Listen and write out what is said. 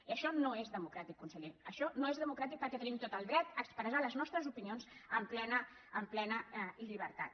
i això no és democràtic conseller això no és democràtic perquè tenim tot el dret a expressar les nostres opinions amb plena llibertat